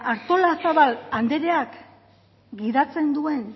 artolazabal andreak gidatzen duen